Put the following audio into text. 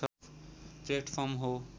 platform हो